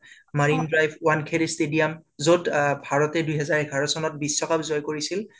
Marin drive বংকাৰে stadium